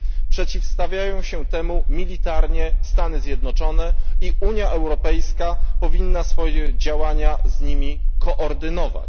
Przeciwstawiają się temu militarnie Stany Zjednoczone, a Unia Europejska powinna swoje działania z nimi koordynować.